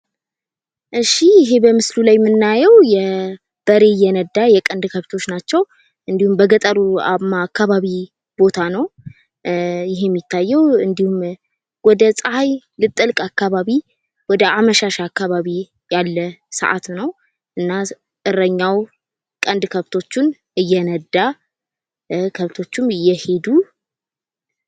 እሺ ይህ በምስሉ ላይ የምናየው የበሬ የነዳ የቀንድ ከብቶች ናቸው ።እንዲሁም በገጠሩማ አካባቢ ቦታ ነው። ይሂ የሚታየው ወደ ፀሐይ ልጠልቅ አካባቢ ወደ አመሻሽ አካባቢ ያለ ሰአት ነው እና እረኛው ቀንድ ከብቶቹን እየነዳ ከብቶቹም እየሄዱ